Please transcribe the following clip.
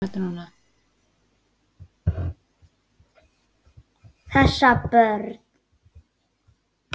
Passa börn?